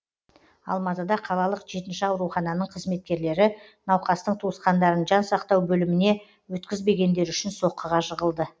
алматыда қалалық жетінші аурухананың қызметкерлері науқастың туысқандарын жан сақтау бөліміне өткізбегендері үшін соққыға жығылды